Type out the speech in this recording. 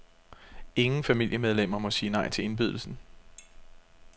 Ingen familiemedlemmer må sige nej til indbydelsen.